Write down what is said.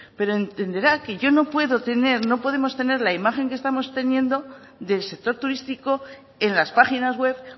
pero entenderá que yo no puedo tener no podemos tener la imagen que estamos teniendo del sector turístico en las páginas web